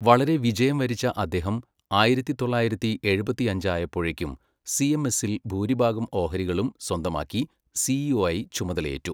വളരെ വിജയം വരിച്ച അദ്ദേഹം ആയിരത്തി തൊള്ളായിരത്തി എഴുപത്തിയഞ്ചായപ്പോഴേക്കും സിഎംഎസിൽ ഭൂരിഭാഗം ഓഹരികളും സ്വന്തമാക്കി സിഇഒയായി ചുമതലയേറ്റു.